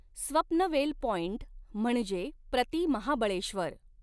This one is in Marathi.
स्वप्नवेल पॉइंट म्हणजे प्रति महाबळेश्वर